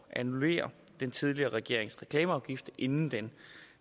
annullere den tidligere regerings reklameafgift inden den